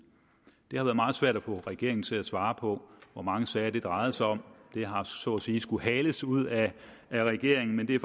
det har været meget svært at få regeringen til at svare på hvor mange sager det drejede sig om det har så at sige skulle hales ud af regeringen men det er